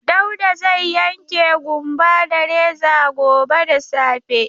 Dauda zai yanke ƙumba da reza gobe da safe.